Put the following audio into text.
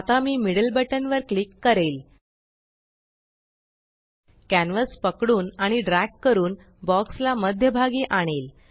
आता मी मिड्ल बटना वर क्लिक करेल कॅन्वस पकडून आणि ड्रॅग करून बॉक्स ला मध्यभागी आणेल